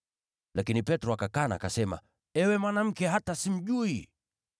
Lakini Petro akakana, akasema, “Ewe mwanamke, hata simjui!”